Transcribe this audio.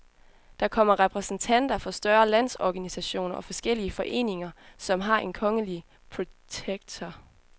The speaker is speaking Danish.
Der kommer repræsentanter for større landsorganisationer og forskellige foreninger, som har en kongelige protektor.